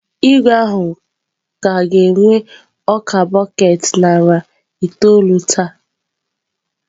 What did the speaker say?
Igwe ahụ ka ga-egwe ọka bọket narị itoolụ taa.